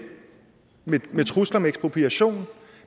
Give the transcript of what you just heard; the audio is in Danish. med trusler om ekspropriation